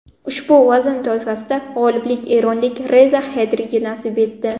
Ushbu vazn toifasida g‘oliblik eronlik Reza Xedriga nasib etdi.